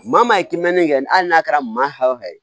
Maa min ye kimɛni kɛ hali n'a kɛra maa o fɛn ye